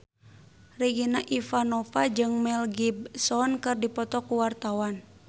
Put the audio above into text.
Regina Ivanova jeung Mel Gibson keur dipoto ku wartawan